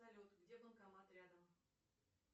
салют где банкомат рядом